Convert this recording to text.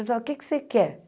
O que é que você quer?